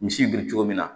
Misi biri cogo min na